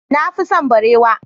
Na fi son barewa.